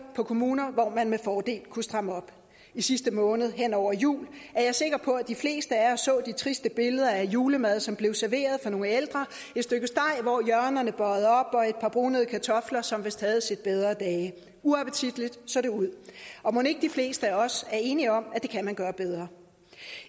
på kommuner hvor man med fordel kunne stramme op i sidste måned hen over jul er jeg sikker på at de fleste af os så de triste billeder af julemad som blev serveret for nogle ældre et stykke steg hvor hjørnerne bøjede op og et par brunede kartofler som vist havde set bedre dage uappetitligt så det ud mon ikke de fleste af os er enige om at det kan man gøre bedre